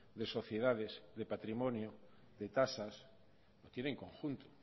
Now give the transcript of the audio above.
de sociedades de patrimonio de tasas tienen conjunto